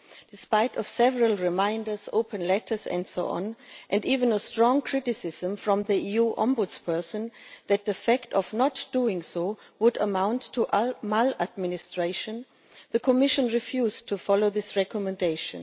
Despite several reminders, open letters and so on, and even strong criticism from the EU Ombudsperson that the fact of not doing so would amount to maladministration, the Commission refused to follow this recommendation.